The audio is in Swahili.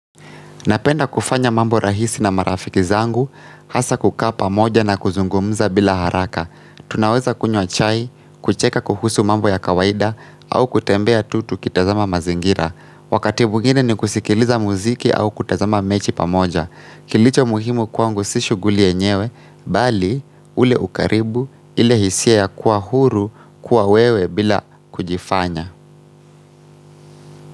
Napenda kufanya mambo rahisi na marafiki zangu, hasa kukaa pamoja na kuzungumza bila haraka. Tunaweza kunywa chai, kucheka kuhusu mambo ya kawaida au kutembea tutu kitazama mazingira. Wakati bwingine ni kusikiliza muziki au kutazama mechi pamoja. Kilicho muhimu kwangu sishughuli yenyewe, bali ule ukaribu ile hisia ya kuahuru kuwa wewe bila kujifanya.